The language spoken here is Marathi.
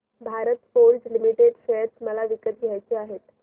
भारत फोर्ज लिमिटेड शेअर मला विकत घ्यायचे आहेत